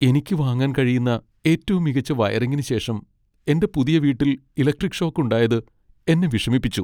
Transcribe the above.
എനിക്ക് വാങ്ങാൻ കഴിയുന്ന ഏറ്റവും മികച്ച വയറിംഗിന് ശേഷം എന്റെ പുതിയ വീട്ടിൽ ഇലക്ട്രിക് ഷോക്ക് ഉണ്ടായത് എന്നെ വിഷമിപ്പിച്ചു.